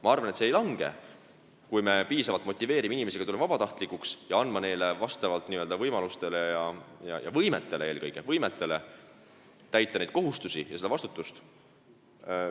Ma arvan, et see ei vähene, kui me piisavalt motiveerime inimesi tulema vabatahtlikuks ja lubame neil vastavalt võimalustele ja eelkõige võimetele täita neid kohustusi ja kanda seda vastutust.